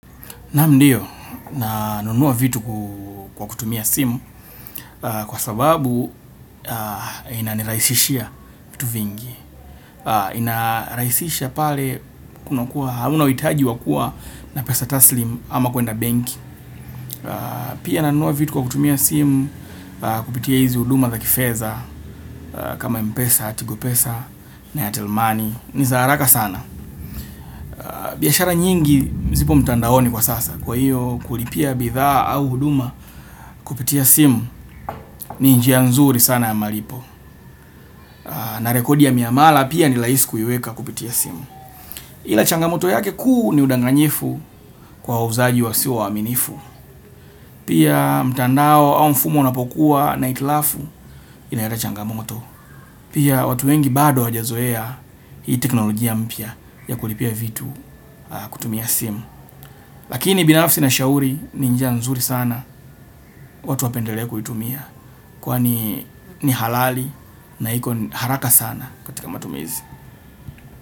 Naam ndiyo, nanunuwa vitu kwa kutumia simu kwa sababu inanirahisishia vitu vingi. Inarahisishia pale kunakuwa, hauna uhitaji wa kuwa na pesa taslim ama kwenda bank. Pia nanunuwa vitu kwa kutumia simu kupitia hizi huduma za kifedha kama mpesa, tigopesa na ya telmani. Ni za haraka sana. Biashara nyingi zipo mtandaoni kwa sasa. Kwa hiyo kulipia bidhaa au huduma kupitia simu ni njia nzuri sana ya malipo. Na rekodi ya miamala pia ni rahisi kuiweka kupitia simu. Ila changamoto yake kuu ni udanganyifu kwa wauzaji wasio waaminifu. Pia mtandao au mfumo unapokuwa na hitilafu inaleta changamoto. Pia watu wengi bado hawajazoea hii teknolojia mpya ya kulipia vitu kutumia simu. Lakini binafsi na shauri ni njia nzuri sana watu wapendelee kuitumia. Kwani ni halali na iko haraka sana katika matumizi.